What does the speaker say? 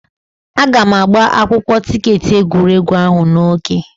Aga m agba akwụkwọ tiketi egwuregwu ahụ n'oge.